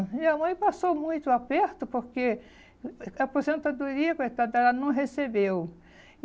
Minha mãe passou muito aperto porque a aposentadoria, coitada, ela não recebeu.